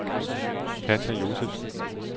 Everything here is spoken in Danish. Katja Josefsen